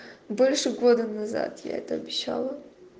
больше года назад я это обещала